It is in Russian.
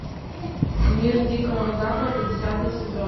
мир дикого запада десятый сезон